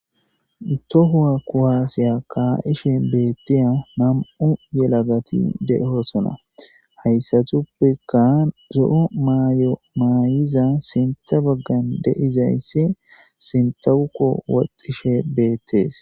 uto huwa kuhaasiya kaa7ishe beettiya nam7u yelagati dehoosona hayssatuppekka zo7o maayo maayiza sintha baggan deizayssi sintha wukko waxxishe beettees